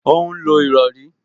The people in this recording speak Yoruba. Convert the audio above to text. Ó ń lo ìrọrí